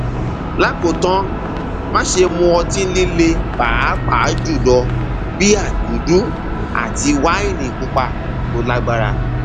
lákòótán máṣe mu ọtí líle pàápàá jùlọ bíà dúdú àti wáìnì pupa tó lágbára